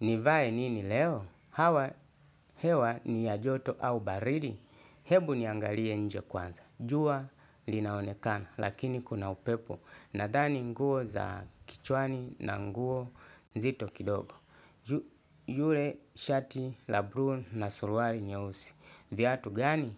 Nivaye nini leo? Hawa hewa ni ya joto au baridi? Hebu niangalie nje kwanza. Jua linaonekana lakini kuna upepo. Nadhani nguo za kichwani na nguo zito kidogo. Yule shati labrun na sulwari nyewusi. Vyatu gani?